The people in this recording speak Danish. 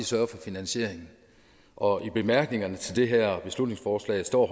sørge for finansieringen og i bemærkningerne til det her beslutningsforslag står